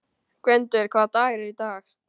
Gvendur, hvaða dagur er í dag?